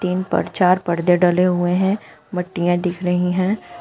इन पर चार पर्दे डाले हुए हैं मट्टीया दिख रही हैं।